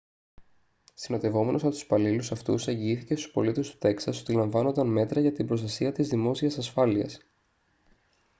συνοδευόμενος από τους υπαλλήλους αυτούς εγγυήθηκε στους πολίτες του τέξας ότι λαμβάνονταν μέτρα για την προστασία της δημόσιας ασφάλειας